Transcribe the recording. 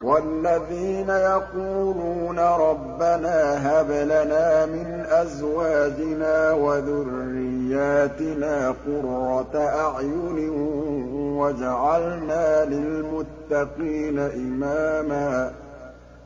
وَالَّذِينَ يَقُولُونَ رَبَّنَا هَبْ لَنَا مِنْ أَزْوَاجِنَا وَذُرِّيَّاتِنَا قُرَّةَ أَعْيُنٍ وَاجْعَلْنَا لِلْمُتَّقِينَ إِمَامًا